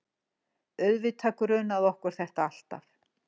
Auðvitað grunaði okkur þetta alltaf.